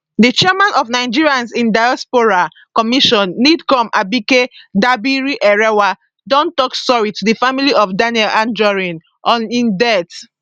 di chairman of nigerians in diaspora commission nidcom abike dabirierewa don tok sorry to di family of daniel anjorin on im death